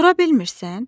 Dura bilmirsən?